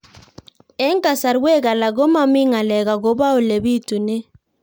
Eng' kasarwek alak ko mami ng'alek akopo ole pitunee